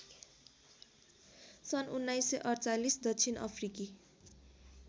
सन् १९४८ दक्षिण अफ्रिकी